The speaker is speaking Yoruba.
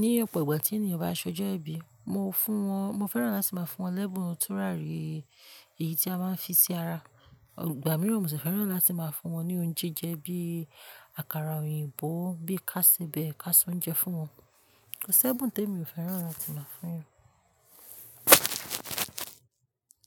Ni ọ̀pọ̀ ìgbà tí ènìyàn bá ṣọjọ́ ẹ̀bi, mo fún wọn, mo fẹ́ràn láti máa fún wọn lẹ́bùn onítúràrí, èyí tí a máa ń fi sí ara. Ìgbà mìíràn mo sì fẹ́ràn láti máa fún wọn ní oúnjẹ bíi àkàrà òyìnbó, bí ká síbẹ̀ is se ounje fún wọn. Kò sí ẹ̀bùn tí mi ò fẹ́ràn láti máa fún wọn.